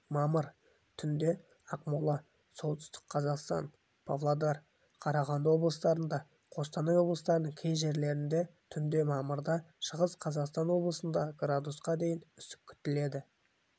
мамыр түнде ақмола солтүстік қазақстан павлодар қарағанды облыстарында қостанай облысының кей жерлерінде түнде мамырда шығыс қазақстан облысында градусқа дейін үсік күтіледі